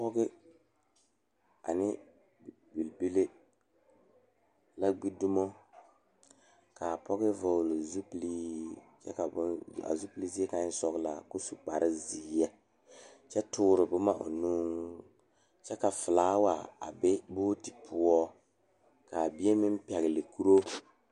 Pɔgeba ne bibile la gbedomo la kaa dɔɔ kaŋa a are a su kpare pelaa kaa Yiri a die dankyini are kaa kolbaare a dɔgle tabol zu.